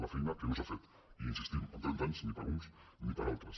la feina que no s’ha fet hi insistim en trenta anys ni per uns ni per altres